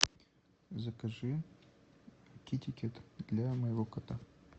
закажи китекет для моего кота